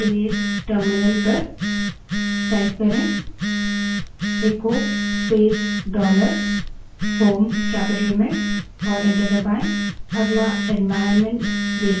value देखने के लिए terminal पर echo space dollar home terminal पर echo space dollar shell capital में type करें और enter दबायें